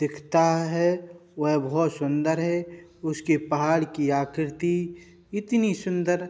दिखता है। वह बोहोत सुन्दर है। उसके पहाड़ की आकृति इतनी सुन्दर --